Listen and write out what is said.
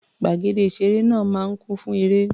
Gbàgede ìṣeré náà máa ń kún fún eré.